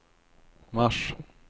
mars